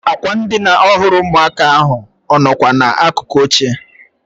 Ákwà ndịna ọhụrụ ụmụaka ahụ ọ nọkwa n'akụkụ oche?